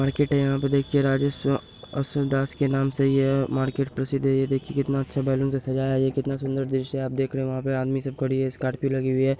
Market है यहाँ पे देखिए राजे शिवदाश के नाम से ये मार्केट प्रसिद्ध हें । ये देखिए कितना अच्छा बलून से सजाया हें। ये कितना सुंदर दृश्य हें । आप देख रहो हो वहा पे आदमी सब खड़ी हें । स्कार्पियो लगी हुई हें ।